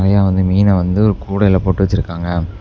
அ வந்து மீன வந்து கூடையில போட்டு வச்சிருக்காங்க.